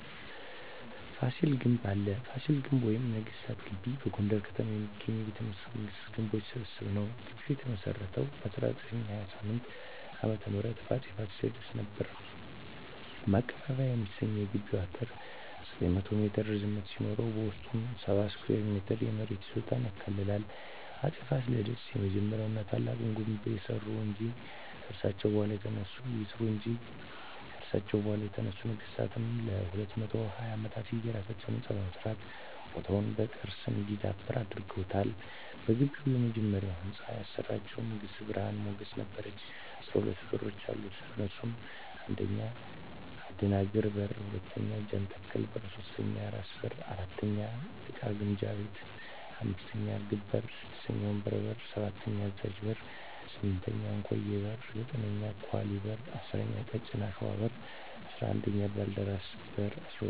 ፋሲል ግንብ አለ ፋሲል ግቢ ወይም ነገስታት ግቢ በጎንደር ከተማ የሚገኝ የቤተ መንግስታት ግንቦች ስብስብ ነዉ ግቢዉ የተመሰረተዉ በ1628ዓ.ም በአፄ ፋሲለደስ ነበር ማቀባበያ የሚሰኘዉ የግቢዉ አጥር 900ሜትር ርዝመት ሲኖረዉበዉስጡ 70,000ስኩየር ሜትር የመሬት ይዞታ ያካልላል አፄ ፋሲለደስ የመጀመሪያዉና ታላቁን ግንብ ያሰሩ እንጂ ከርሳቸዉ በኋላ የተነሱ ነገስታትም ለ220ዓመታት የየራሳቸዉ ህንፃ በመስራት ቦታዉ በቅርስ እንዲዳብር አድርገዋል በግቢዉ የመጨረሻዉን ህንፃ ያሰራቸዉን ንግስት ብርሀን ሞገስ ነበረች 12በሮች አሉት እነሱም 1. አደናግር በር 2. ጃንተከል በር 3. ራስ በር 4. እቃ ግምጃ ቤት 5. እርግብ በር 6. ወንበር በር 7. አዛዥ በር 8. እንኮዬ በር 9. ኳሊ በር 10. ቀጭን አሽዋ በር 11. ባልደራስ በር 12. እምቢልታ በር በመባል ይታወቃሉ